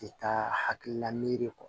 Ti taa hakilila miiri kɔ